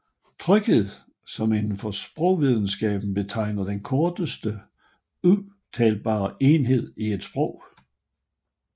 Trykenhed som inden for sprogvidenskab betegner den korteste udtalbare enhed i et sprog